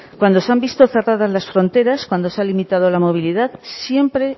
cuando se han visto cerradas las fronteras cuando se ha limitado la movilidad siempre